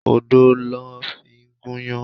Odo ló fi gúnyán.